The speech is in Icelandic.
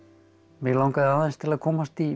mig langaði aðeins til að komast í